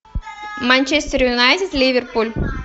манчестер юнайтед ливерпуль